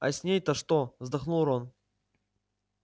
а с ней-то что вздохнул рон